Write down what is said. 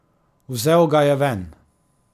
Vzel ga je ven.